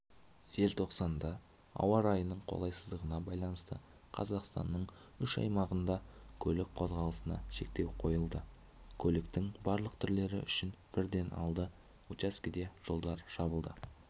желтоқсанда ауа райының қолайсыздығына байланысты қазақстанның үш аймағында көлік қозғалысына шектеу қойылды көліктің барлық түрлері үшін бірден алты учаскеде жолдар жабылды